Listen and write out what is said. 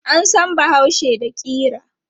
An san bahaushe da ƙira.